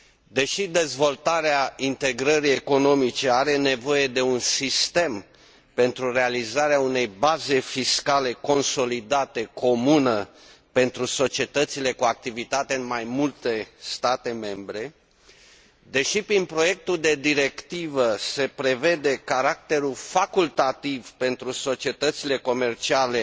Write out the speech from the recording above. Deși dezvoltarea integrării economice are nevoie de un sistem pentru realizarea unei baze fiscale consolidate comună pentru societățile cu activitate în mai multe state membre, deși prin proiectul de directivă se prevede caracterul facultativ pentru societățile comerciale